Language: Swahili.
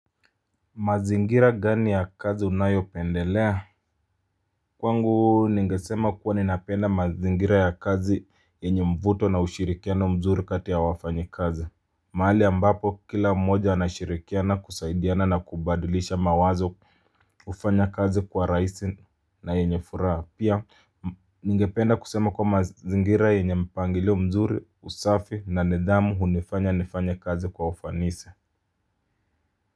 Mazingira gani ya kazi unayopendelea. Kwangu ningesema kuwa ninapenda mazingira ya kazi yenye mvuto na ushirikiano mzuri kati ya wafanyikazi. Mahali ambapo kila mmoja anashirikiana kusaidiana na kubadilisha mawazo hufanya kazi kwa rahisi na yenye furaha pia ningependa kusema kuwa mazingira yenye mpangilio mzuri usafi na nidhamu hunifanya nifanye kazi kwa ufanisi.